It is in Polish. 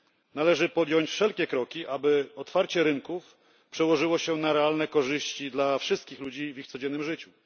Należy podjąć wszelkie kroki, aby otwarcie rynków przełożyło się na realne korzyści dla wszystkich ludzi w ich codziennym życiu.